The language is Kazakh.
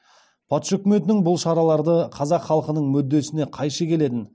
патша өкіметінің бұл шараларды қазақ халқының мүддесіне қайшы келетінін